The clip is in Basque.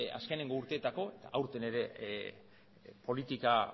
azkeneko urteetako aurten ere politika